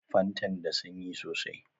Fantan da sanyi sosai